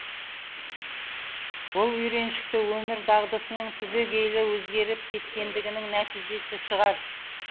бұл үйреншікті өмір дағдысының түбегейлі өзгеріп кеткендігінің нәтижесі шығар